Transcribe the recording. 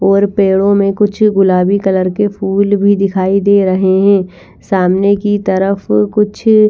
और पेड़ों में कुछ गुलाबी कलर के फूल भी दिखाई दे रहे हैं सामने की तरफ कुछ--